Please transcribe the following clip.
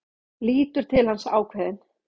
Lítur til hans, ákveðin.